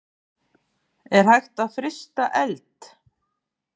Er hægt að frysta eld?